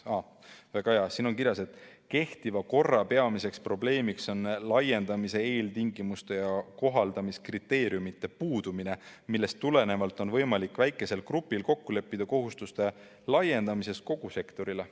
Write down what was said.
Väga hea, siin on kirjas, et kehtiva korra peamiseks probleemiks on laiendamise eeltingimuste ja kohaldamiskriteeriumide puudumine, millest tulenevalt on võimalik väikesel grupil kokku leppida kohustuste laiendamises kogu sektorile.